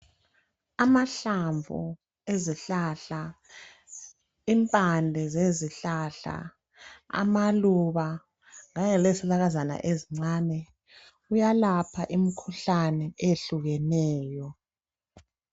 Amahlamvu ezihlahla, impane , amaluba kanye lezihlakazana ezincane kuyalapha imikhuhlale etshiyeneyo.